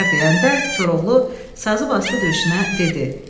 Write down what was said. Nigər deyəndə Koroğlu sazı basdı döşünə, dedi: